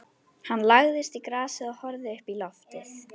Hann lagðist í grasið og horfði uppí loftið.